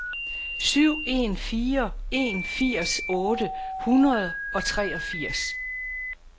syv en fire en firs otte hundrede og treogfirs